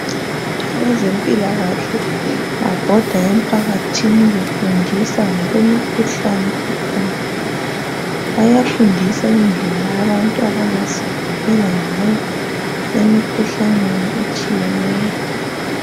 Abezempikahle babhoda emphakathini befundisa ngokwe mkhuhlane ekhona bayafundisa indlela abantu abangazivikela ngoyo emikhuhlaneni etshiyeneyo.